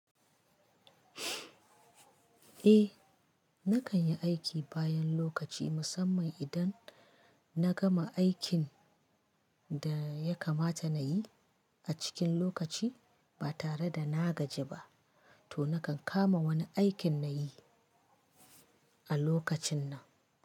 Eh, na kan yi aiki bayan lokaci musamman idan na gama aikin da ya kamata na yi a cikin lokaci ba tare da na gaji ba, to na kan kama wani aikin na yi a lokacin nan.